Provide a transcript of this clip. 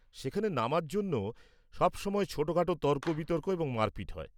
সেখানে নামার জন্য সবসময় ছোটখাটো তর্ক-বিতর্ক এবং মারপিট হয়।